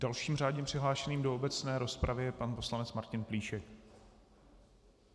Dalším řádně přihlášeným do obecné rozpravy je pan poslanec Martin Plíšek.